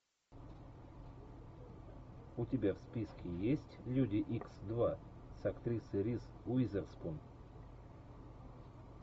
у тебя в списке есть люди икс два с актрисой риз уизерспун